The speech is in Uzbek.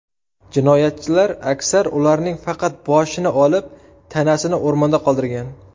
Jinoyatchilar aksar ularning faqat boshini olib, tanasini o‘rmonda qoldirgan.